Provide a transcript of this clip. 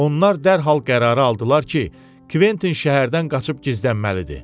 Onlar dərhal qərarı aldılar ki, Kventin şəhərdən qaçıb gizlənməlidir.